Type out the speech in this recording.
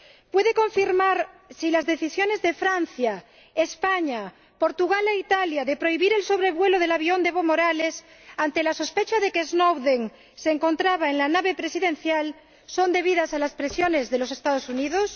¿Puede confirmar si las decisiones de Francia, España, Portugal e Italia de prohibir el sobrevuelo del avión de Evo Morales, ante la sospecha de que Snowden se encontraba en la nave presidencial, son debidas a las presiones de los Estados Unidos?